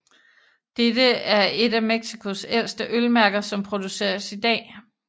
Dette er et af Mexicos ældste ølmærker som produceres i dag